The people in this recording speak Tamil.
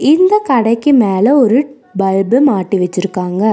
இந்த கடைக்கு மேல ஒரு பல்பு மாட்டி வெச்சிருக்காங்க.